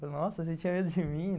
Falei, nossa, você tinha medo de mim?